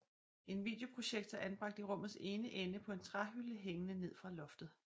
En videoprojektor anbragt i rummets ene ende på en træhylde hængende ned fra loftet